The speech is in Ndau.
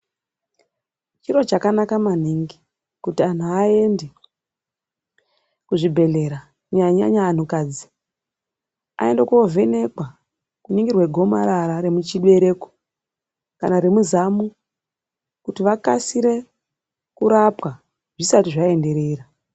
Chiro chakanaka maningi kuantu aende kuzvibhedhlera kunyanya-nyanya antukadzi. Aende kovhenekwa kuningirwa gomarara remuchibereko kana remuzamu kuti vakasire kurapwa zvisati zvaenderera.